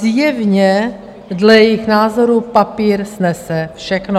Zjevně dle jejich názoru papír snese všechno.